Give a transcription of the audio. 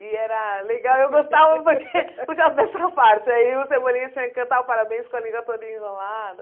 E era legal, eu gostava porque por causa dessa parte aí o Cebolinha tinha que cantar o parabéns com a língua toda enrolada.